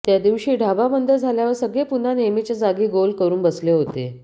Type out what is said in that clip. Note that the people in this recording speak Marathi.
त्या दिवशी ढाबा बंद झाल्यावर सगळे पुन्हा नेहमीच्या जागी गोल करून बसले होते